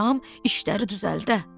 Adam işləri düzəldə.